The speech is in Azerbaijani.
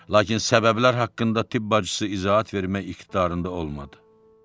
Lakin səbəblər haqqında tibb bacısı izahat vermək iqtidarında olmadı.